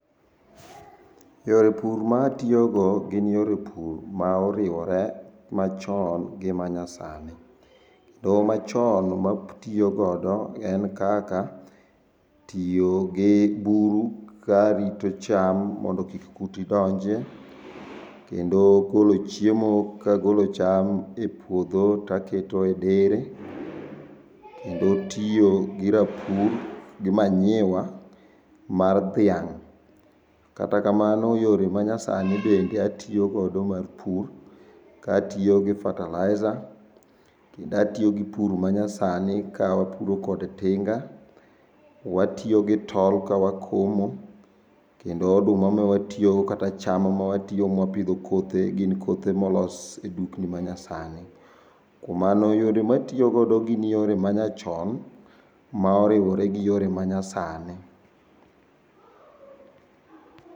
Yore pur ma atiyogo gin yore pur ma oriwore machon gi manyasani. To machon ma atiyogodo en kaka, tiyo gi buru ka rito cham mondo kik kute donjie, kendo golo chiemo kagolo cham e puodho ka aketo e dere. Kendo tiyo gi rapur gi manyiwa mar dhiang'. Kata kamano yore manyasani bende atiyogodo mar pur, ka atiyo gi fertilizer, kendo atiyo gi pur manyasani ka wapuro kod tinga. Watiyo gi tol ka wakomo, kendo oduma ma watiyogo kata cham ma watiyo mawapidho kothe gin kothe molos e dukni manyasani. Kuom mano yore matiyogodo gin yore manyachon ma oriwore gi yore manyasani.